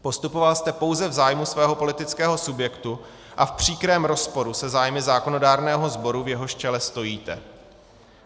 Postupoval jste pouze v zájmu svého politického subjektu a v příkrém rozporu se zájmy zákonodárného sboru, v jehož čele stojíte.